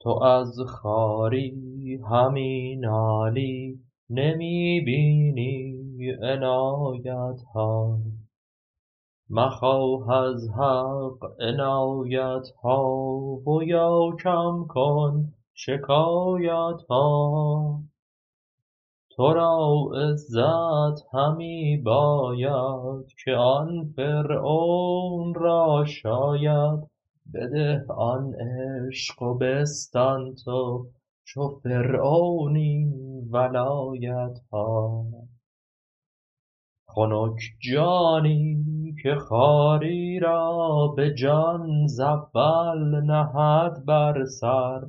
تو از خواری همی نالی نمی بینی عنایت ها مخواه از حق عنایت ها و یا کم کن شکایت ها تو را عزت همی باید که آن فرعون را شاید بده آن عشق و بستان تو چو فرعون این ولایت ها خنک جانی که خواری را به جان ز اول نهد بر سر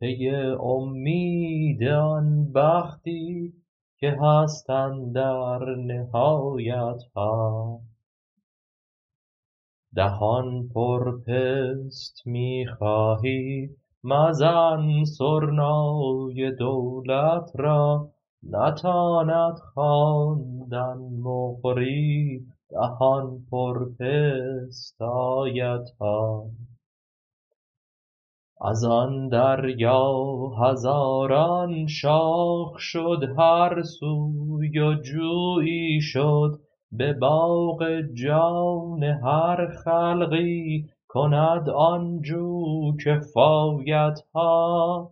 پی اومید آن بختی که هست اندر نهایت ها دهان پر پست می خواهی مزن سرنای دولت را نتاند خواندن مقری دهان پر پست آیت ها از آن دریا هزاران شاخ شد هر سوی و جویی شد به باغ جان هر خلقی کند آن جو کفایت ها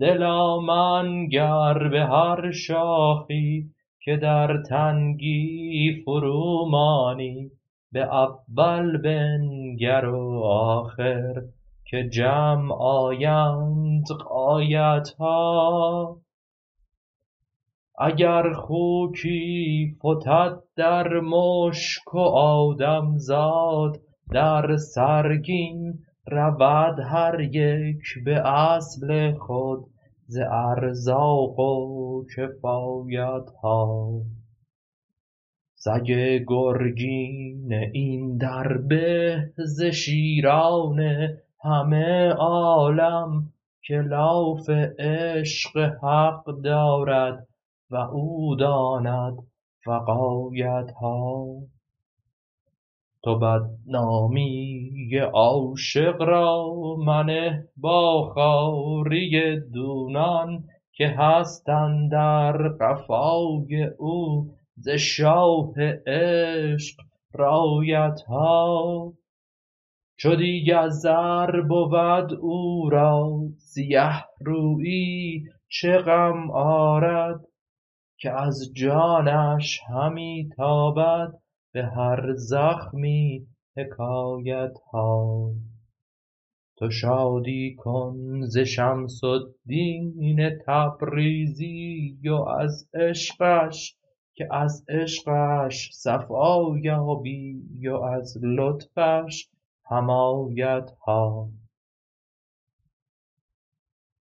دلا منگر به هر شاخی که در تنگی فرومانی به اول بنگر و آخر که جمع آیند غایت ها اگر خوکی فتد در مشک و آدم زاد در سرگین رود هر یک به اصل خود ز ارزاق و کفایت ها سگ گرگین این در به ز شیران همه عالم که لاف عشق حق دارد و او داند وقایت ها تو بدنامی عاشق را منه با خواری دونان که هست اندر قفای او ز شاه عشق رایت ها چو دیگ از زر بود او را سیه رویی چه غم آرد که از جانش همی تابد به هر زخمی حکایت ها تو شادی کن ز شمس الدین تبریزی و از عشقش که از عشقش صفا یابی و از لطفش حمایت ها